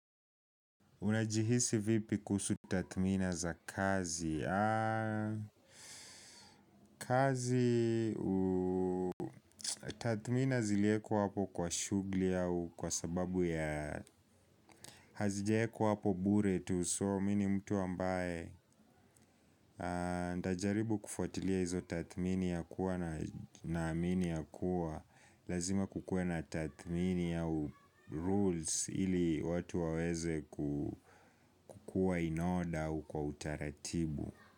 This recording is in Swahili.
Unajihisi vipi kuhsu tathmini za kazi? Kazi, tathmini ziliekwa hapo kwa shughuli au kwa sababi ya, hazijaekwa hapo tu, so me mi mtu ambaye najaribu kufuatilia hizo tathmini ya kuwa naamini ya kuwa lazima kukue na tathmini au rules ili watu waweze kukua in order u kwa utaratibu.